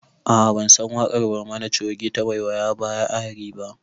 A'a bansan waƙar barmani coge ta 'waiyaya baya ari' ba